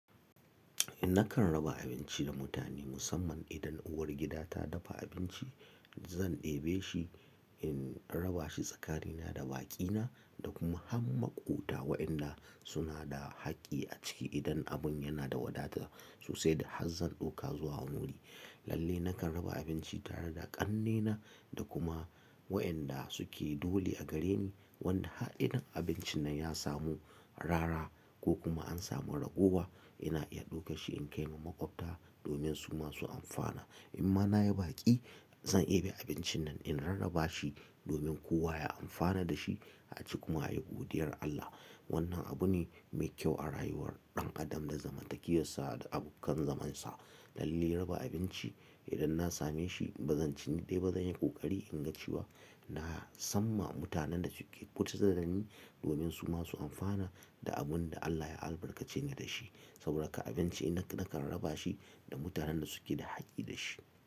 Nakan raba abinci da mutane musamman idan uwar gida ta dafa abinci, zan ɗebe shi in raba shi tsakanina da baƙina da kuma han maƙwabta waɗanda suna da haƙƙi a ciki idan abin yana da wadata sosai da har zan ɗoka zuwa wuri. Lalle nakan raba abinci tare da ƙannena da kuma waɗanda suke dole a gare ni wanda har idan abincin nan ya samu arara ko kuma an samu ragowa ina iya ɗauke shi in kai ma maƙwabta domin su masu amfana. In ma na yi baƙi zan ɗebe abincin nan in rarraba shi domin kowa ya amfana da shi a ci kuma ayi godiyar Allah. Wannan abu ne mai kyau a rayuwar ɗan adam da zamantakiyarsa da abokan zamansa. Lalle raba abinci idan na same shi ba zan ci ni dai ba zan yi ƙoƙari in ga cewa na san ma mutanen da suke kusa da ni domin su masu amfana da abin da Allah ya albarkace ni da shi. Saboda haka abinci nakan raba shi da mutanen da suke da haƙƙi da shi.